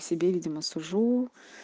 себе видимо сужу